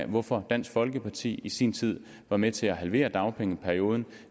hvorfor dansk folkeparti i sin tid var med til at halvere dagpengeperioden